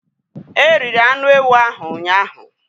The goat meat was eaten yesterday.